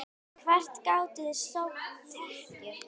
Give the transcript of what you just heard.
Hvert gátuð þið sótt tekjur?